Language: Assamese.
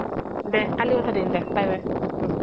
দে কলি কথা পাতিম দে bye bye